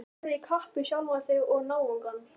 Og þú ferð í kapp við sjálfan þig og náungann.